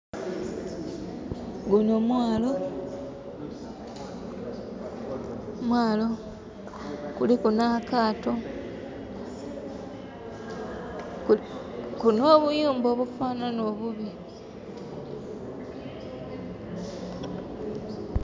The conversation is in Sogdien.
Guno mwaalo. Mwaalo, kuliku n'akaato, n'obuyumba obufanana obubi.